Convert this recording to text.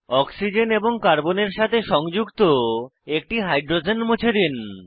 oxygen এবং কার্বনের সাথে সংযুক্ত একটি হাইড্রোজেন মুছে দিন